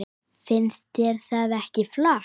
Finnst þér það ekki flott?